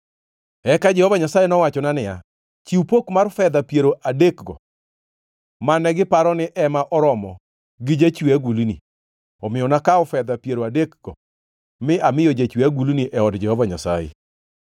Eka Jehova Nyasaye nowachona niya, “Chiw pok mar fedha piero adekgo mane giparo ni ema oromo gi jachwe agulni!” Omiyo nakawo fedha piero adekgo mi amiyo jachwe agulni e od Jehova Nyasaye.